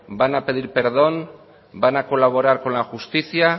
van a pedir perdón van a colaborar con la justicia